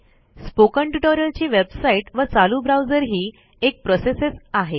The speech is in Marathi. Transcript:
स्पोकन ट्युटोरियल ची वेबसाईट व चालू ब्राउजरही एक प्रोसेसच आहे